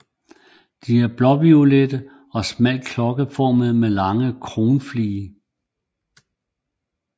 De er blåviolette og smalt klokkeformede med lange kronflige